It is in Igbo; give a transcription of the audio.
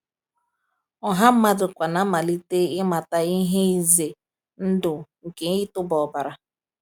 "Ọha mmadụ kwa na-amalite ịmata ihe ize ndụ nke ịtụba ọbara."